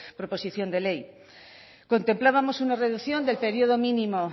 proposición de ley contemplábamos una reducción de periodo mínimo